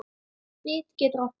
Fit getur átt við